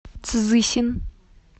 цзысин